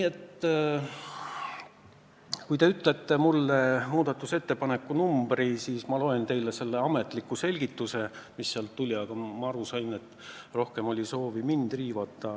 Aga kui te ütlete mulle selle muudatusettepaneku numbri, siis ma loen teile selle ametliku selgituse, mis sealt tuli, aga nagu ma aru sain, rohkem oli soovi mind riivata.